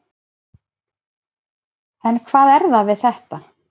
En hvað er það við þetta?